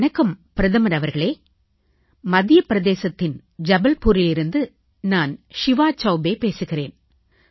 வணக்கம் பிரதமர் அவர்களே மத்திய பிரதேசத்தின் ஜபல்பூரிலிருந்து நான் ஷிவா சவுபே பேசுகிறேன்